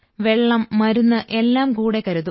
വെള്ളം മരുന്ന് എല്ലാം കൂടെ കരുതും